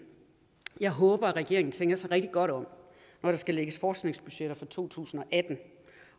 jeg håber regeringen tænker sig rigtig godt om når der skal lægges forskningsbudgetter for to tusind og atten